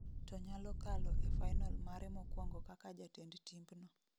to nyalo kalo e final mare mokuongo kaka jatend timbno